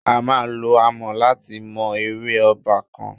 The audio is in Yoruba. A máa lo àmọ̀ láti mọ ère ọba kan.